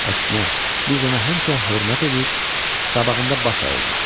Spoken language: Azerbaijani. Əksinə, biz ona həmişə hörmət edir, qabağında baş əyirdik.